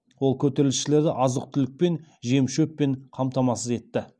ол көтерілісшілерді азық түлікпен жемшөппен қамтамасыз етті